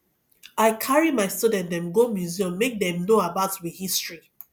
i carry my student dem go museum make dem know about we history